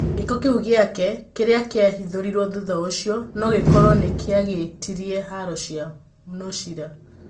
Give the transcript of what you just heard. Gĩko kĩu gĩake, kĩrĩa kĩa hithũrirwo thutha ũcio. No gĩkorwo nĩkĩarigĩtĩirĩe haro cia nucria.